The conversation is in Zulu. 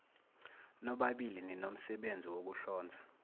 nobabili ninomsebenzi wokuhlonza